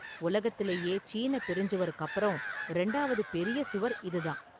உலகத்துலேயே சீனப் பெருஞ்சுவருக்கு அப்பறம் இரண்டாவது பெரிய சுவர் இது தான்.